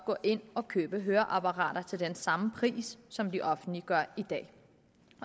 gå ind og købe høreapparater til den samme pris som det offentlige gør i dag